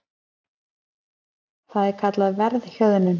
Það er kallað verðhjöðnun.